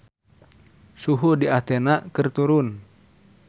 Suhu di Athena keur turun